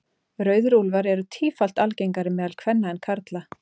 Rauðir úlfar eru tífalt algengari meðal kvenna en karla.